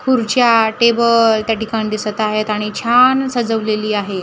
खुर्च्या टेबल त्या ठिकाणी दिसत आहेत आणि छान सजवलेली आहे.